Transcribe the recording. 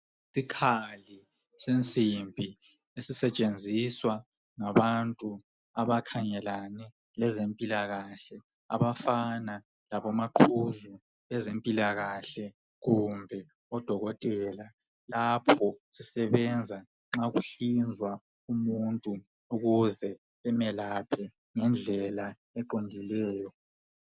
Isikhali sensimbi esisetshenziswa ngabantu abakhangelane lezempila kahle abafana labo maqhuzu ngezempila kahle kumbe odokotela, lapha sisebenza nxakuhlinzwa umuntu ukuze bemelaphe ngendlela eqondileyo.